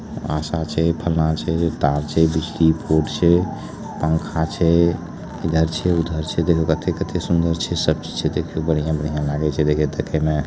आशा छे फलना छे तार छे एगो स्विचबोर्ड छे पंखा छे इधर छे उधर छे। देखो कथे-कथे सुन्दर छे सब छे देखो बढ़िया-बढ़िया लागे छे ते देखे में।